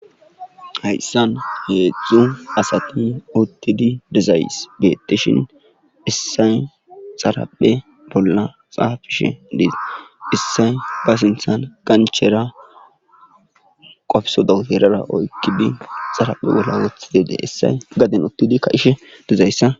hayssan heedzdzu asati uttidi dezays beteshin issay xaraphe bolla xaafishe diiza issay ba sintsan qanchera qofso doteerara oykkidi xaraphe bolla woththi deede issay gaden uttidi kahishe dizayssa